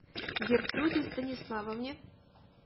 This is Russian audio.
гертруде станиславовне